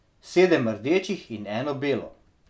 Sedem rdečih in eno belo.